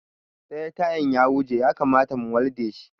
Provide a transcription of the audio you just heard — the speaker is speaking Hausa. Ɗaya tayan ya huje ya kamata mu walde shi